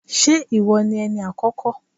Ṣé ìwọ ni Ẹni àkọ́kọ́?